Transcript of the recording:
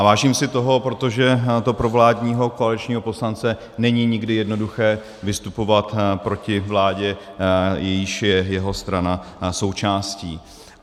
A vážím si toho, protože to pro vládního koaličního poslance není nikdy jednoduché vystupovat proti vládě, jejíž je jeho strana součástí.